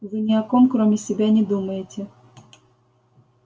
вы ни о ком кроме себя не думаете